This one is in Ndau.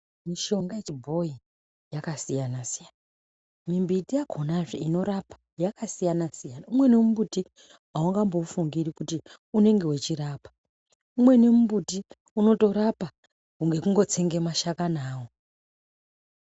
Mishonga yechibhoyi yakasiyana-siyana mimbiti yakonazve inorapa yakasiyana-siyana umweni mumbuti aungamboufungiri kuti unenge uchirapa umweni mumbuti unotorapa ngekungotsenga mashakani awo.